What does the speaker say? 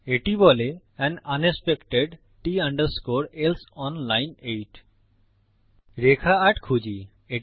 এটি বলে un unexpected T else on line 8 রেখা ৮ খুঁজি